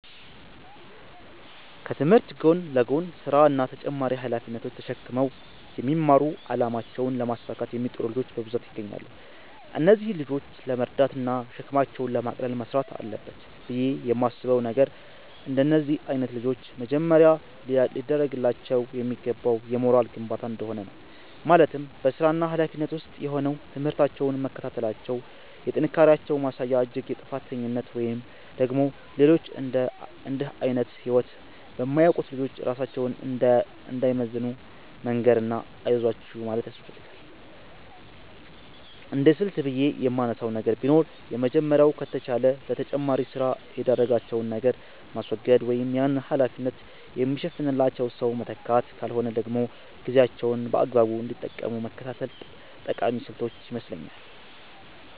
ከትምህርት ጎን ለጎን ስራ እና ተጨማሪ ሃላፊነቶች ተሽክመው የሚማሩ አላማቸውን ለማሳካት የሚጥሩ ልጆች በብዛት ይገኛሉ። እነዚህን ልጆች ለመርዳት እና ሸክማቸውን ለማቅለል መስራት አለበት ብየ የማስበው ነገር፤ እንደነዚህ አይነት ልጆች መጀመሪያ ሊደርግላቸው የሚገባው የሞራል ግንባታ እንደሆነ ነው፤ ማለትም በስራና ሀላፊነት ውስጥ ሆነው ትምህርታቸውን መከታተላቸው የጥንካሬያቸው ማሳያ እንጂ የጥፋተኝነት ወይም ደግሞ ሌሎች እንድህ አይነት ህይወት በማያውቁት ልጆች ራሳቸውን እንዳይመዝኑ መንገር እና አይዟችሁ ማለት ያስፈልጋል። እንደስልት ብየ የማነሳው ነገር ቢኖር የመጀመሪያው ከተቻለ ለተጨማሪ ስራ የዳረጋቸውን ነገር ማስወገድ ወይም ያንን ሀላፊነት የሚሸፍንላቸው ሰው መተካት ካልሆነ ደግሞ ጊዜያቸውን በአግባቡ እንዲጠቀሙ መከታተል ጠቃሚ ስልቶች ይመስለኛል።